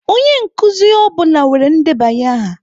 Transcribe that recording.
Onye nkuzi ọ bụla nwere ndebanye aha.